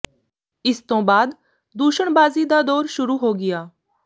ਇਸ ਤੋਂ ਬਾਅਦ ਦੂਸ਼ਣਬਾਜ਼ੀ ਦਾ ਦੌਰ ਸ਼ੁਰੂ ਹੋ ਗਿਆ